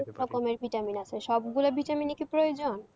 রকমের vitamin আছে সবগুলো vitamin ই কি প্রয়োজন?